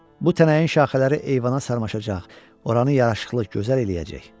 Bu tənəyin şaxələri eyvana sarmaşacaq, oranı yaraşıqlı gözəl eləyəcək.